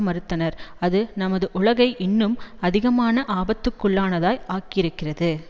மறுத்தனர் அது நமது உலகை இன்னும் அதிகமான ஆபத்துக்குள்ளானதாய் ஆக்கியிருக்கிறது